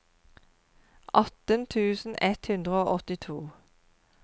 atten tusen ett hundre og åttito